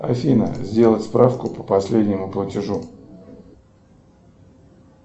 афина сделать справку по последнему платежу